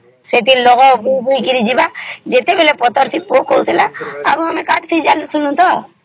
ସେଠି ଲଙ୍ଗଳ ବୋହିକିରି ଯିବା ଯେତେବେଳେ ପଥର ଟିକେ ଆସୁଥିଲେ ଆମେ କାଟି ଜାଣୁଥିଲୁ ତା